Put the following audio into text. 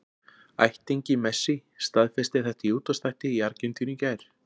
Ættingi Messi staðfesti þetta í útvarpsþætti í Argentínu í gær.